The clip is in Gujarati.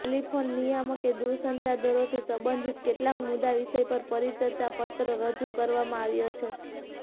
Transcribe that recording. ટેલીફોન નિયામકે દૂરસંચાર દરોથી સંબંધિત કેટલાક મુદ્દા વિષય પર પરિચર્ચા પત્ર રજૂ કરવામાં આવ્યો છે